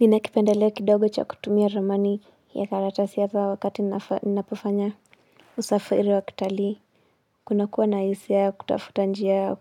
Ninakipendeleo kidogo cha kutumia romani ya karatasiy ata wakati ninapofanya usafiri wa kitalii. Kunakuwa na hisia ya kutafuta njia ya